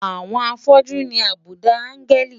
Àwọn afọ́jú ní àbùdá áńgẹ́lì.